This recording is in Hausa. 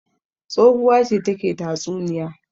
Tsohuwa ce take tatsuniya.